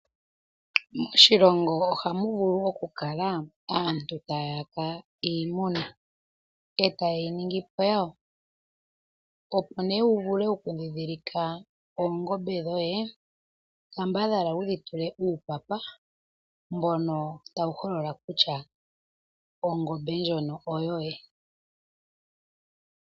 Moshilongo ohamu vulu oku kala aantu taya yaka iimuna eta yeyi ningi po yawo opo nee wu ndhindhilike oongombe dhoye kambadhala wudhi tule uupapa mbono tawu holola kutya ongombe ndjono oyoye.